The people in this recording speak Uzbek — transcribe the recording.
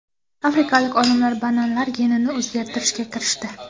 Afrikalik olimlar bananlar genini o‘zgartirishga kirishdi.